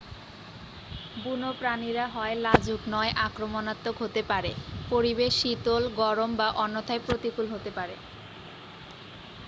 বুনো প্রাণীরা হয় লাজুক নয় আক্রমণাত্মক হতে পারে পরিবেশ শীতল গরম বা অন্যথায় প্রতিকূল হতে পারে